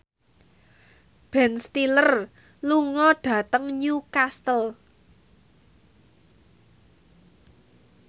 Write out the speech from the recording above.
Ben Stiller lunga dhateng Newcastle